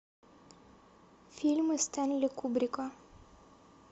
фильмы стэнли кубрика